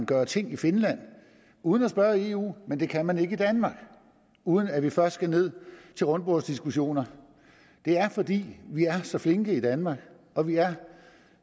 gøre ting i finland uden at spørge eu men det kan man ikke i danmark uden at vi først skal ned til rundbordsdiskussioner det er fordi vi er så flinke i danmark og vi er